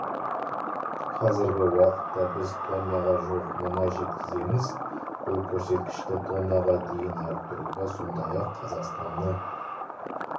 қазіргі уақытта біз тоннаға жуық мұнай жеткіземіз бұл көрсеткішті тоннаға дейін арттыруға сондай-ақ қазақстаннан